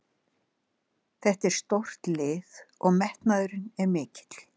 Þetta er stórt lið og metnaðurinn er mikill.